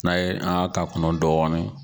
N'a ye an ka ka kɔnɔ dɔɔni